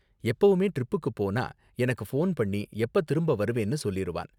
எப்பவுமே ட்ரிப்புக்கு போனா எனக்கு ஃபோன் பண்ணி எப்ப திரும்ப வருவேன்னு சொல்லிருவான்.